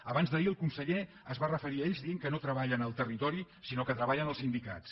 abans d’ahir el conseller s’hi va referir dient que no treballen al territori sinó que treballen als sindicats